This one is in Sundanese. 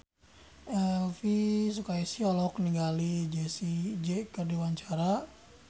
Elvi Sukaesih olohok ningali Jessie J keur diwawancara